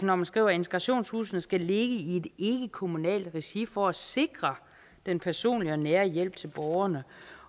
når man skriver at integrationshusene skal ligge i et ikkekommunalt regi for at sikre den personlige og nære hjælp til borgerne